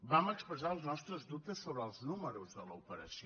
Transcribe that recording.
vam expressar els nostres dubtes sobre els números de l’operació